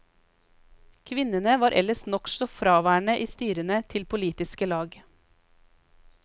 Kvinnene var ellers nokså fraværende i styrene til politiske lag.